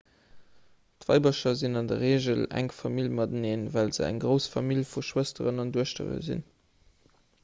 d'weibercher sinn an der reegel enk famill mateneen well se eng grouss famill vu schwësteren an duechtere sinn